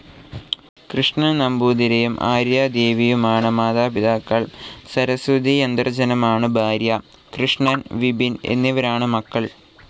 കൃഷ്ണൻ നമ്പൂതിരിയും ആര്യാദേവിയുമാണ് മാതാപിതാക്കൾ. സരസ്വതിയാന്തർജ്ജനമാണ് ഭാര്യ. കൃഷ്ണൻ, വിപിൻ എന്നിവരാണ് മക്കൾ.